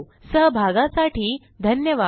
सहभागासाठी धन्यवाद